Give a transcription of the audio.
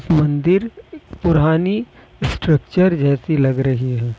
मंदिर पुरानी स्ट्रक्चर जैसी लग रही है।